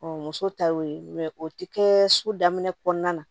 muso ta y'o ye o ti kɛ so daminɛ kɔnɔna na